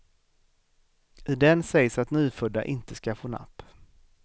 I den sägs att nyfödda inte ska få napp.